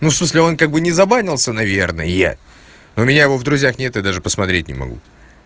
ну в смысле он как бы не забанился наверное но у меня его в друзьях нет и даже посмотреть не могу